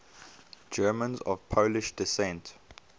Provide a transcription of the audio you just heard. germans of polish descent